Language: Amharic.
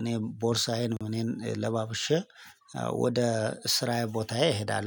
እኔ ቦርሳዬን እኔን ለባብሼ ወደ ስራዬ ቦታዬ እሄዳለሁ